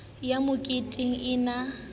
ho ya moketeng e ne